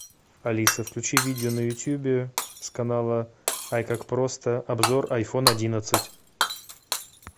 алиса включи видео на ютубе с канала ай как просто обзор айфон одиннадцать